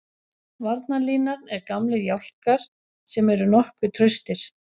Varnarlínan er gamlir jálkar sem eru nokkuð traustir.